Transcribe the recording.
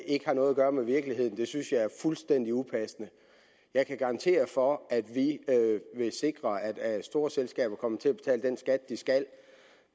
ikke har noget at gøre med virkeligheden synes jeg er fuldstændig upassende jeg kan garantere for at vi vil sikre at at store selskaber kommer til at betale den skat de skal